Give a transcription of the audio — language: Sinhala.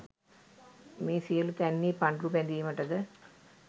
මේ සියලු තැන්හි පඬුරු බැඳීමටද